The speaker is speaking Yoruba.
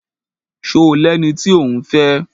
Ṣo lẹni tí òún fẹ́?